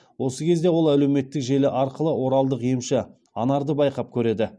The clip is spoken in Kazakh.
осы кезде ол әлеуметтік желі арқылы оралдық емші анарды байқап көреді